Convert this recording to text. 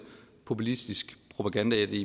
populistisk propaganda i